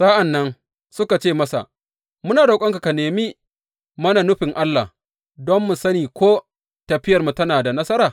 Sa’an nan suka ce masa, Muna roƙonka ka nemi mana nufin Allah don mu sani ko tafiyarmu tana da nasara.